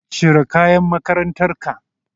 Cire kayan makarantar ka.